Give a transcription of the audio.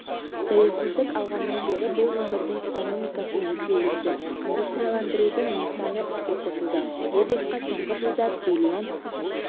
тәуелсіздік алғаннан бері бұл өңірдің экономикасы есе өсті индустрияландырудың нысаны іске қосылды облысқа соңғы жылда триллион